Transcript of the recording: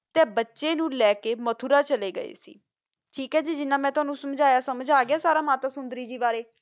ਤਾ ਬਚਾ ਨੂ ਲਾ ਕਾ ਮਥੋਰਾ ਚਲਾ ਗਯਾ ਠੀਕ ਆ ਗੀ ਜਿਨਾ ਮਾ ਟੋਨੋ ਸੰਜਾ ਆ ਸਮਾਜ ਆ ਗਯਾ ਆ ਮਾਤਾ ਸੋੰਦਾਰੀ ਗੀ ਬਾਰਾ ਹਨ ਜੀ ਮੇਨੋ ਸਾਰਾ ਕੁਛ